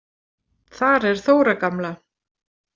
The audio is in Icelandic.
Þar er Þóra gamla.